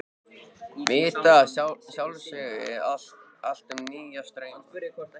Vita að sjálfsögðu allt um nýja strauma.